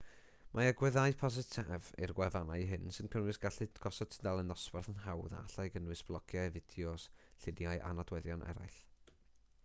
mae agweddau positif i'r gwefannau hyn sy'n cynnwys gallu gosod tudalen dosbarth yn hawdd a allai gynnwys blogiau fideos lluniau a nodweddion eraill